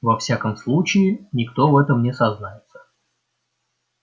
во всяком случае никто в этом не сознается